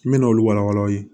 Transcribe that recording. N bɛna olu wala wala aw ye